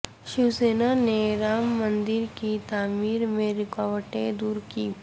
شیوسینا نے رام مندر کی تعمیر میں رکاوٹیں دور کی